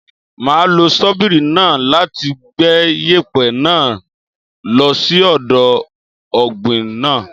Máa lo ṣọ́bìrì náà láti gbẹ́ yèpẹ̀ náà lo sí ọ̀dọ̀ ọ̀gbìn náà.